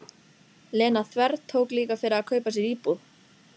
Lena þvertók líka fyrir að kaupa sér íbúð.